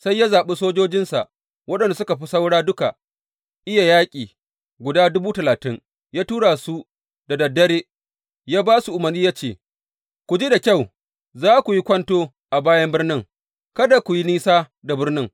Sai ya zaɓi sojojinsa waɗanda suka fi saura duka iya yaƙi guda dubu talatin, ya tura su da dad dare ya ba su umarni ya ce, Ku ji da kyau, za ku yi kwanto a bayan birnin, kada ku yi nisa da birnin.